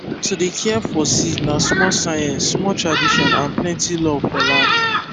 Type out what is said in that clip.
to dey care for seed na small science small tradition and plenty love for land